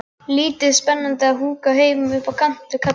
Lítið spennandi að húka heima upp á kant við kallinn.